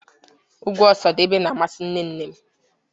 Egwu Osadebe na-amasị nne nnem